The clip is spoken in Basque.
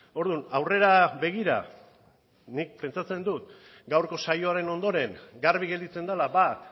orduan aurrera begira nik pentsatzen dut gaurko saioaren ondoren garbi gelditzen dela bat